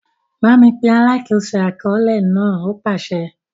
Bámi pe “ alákòóso àkọọ́lẹ̀ ” náà! ó pàsẹ.